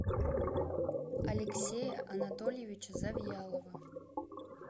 алексея анатольевича завьялова